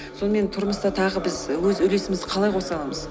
сонымен тұрмыста тағы біз өз үлесімізді қалай коса аламыз